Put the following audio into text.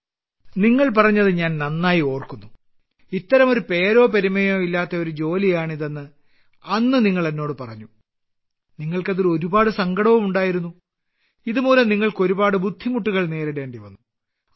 പ്രധാനമന്ത്രി നിങ്ങൾ പറഞ്ഞത് ഞാൻ നന്നായി ഓർക്കുന്നു ഇത്തരമൊരു പേരോ പെരുമയോ ഇല്ലാത്ത ഒരു ജോലിയാണ് ഇതെന്ന് അന്ന് നിങ്ങൾ എന്നോട് പറഞ്ഞു നിങ്ങൾക്ക് അതിൽ ഒരുപാട് സങ്കടവും ഉണ്ടായിരുന്നു ഇതുമൂലം നിങ്ങൾക്ക് ഒരുപാട് ബുദ്ധിമുട്ടുകൾ നേരിടേണ്ടി വന്നു